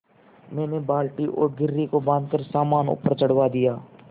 मैंने बाल्टी और घिर्री को बाँधकर सामान ऊपर चढ़वा दिया